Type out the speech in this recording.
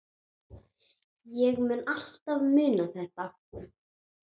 Ég mun alltaf muna þetta.